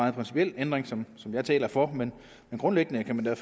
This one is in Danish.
en principiel ændring som som jeg taler for grundlæggende kan man da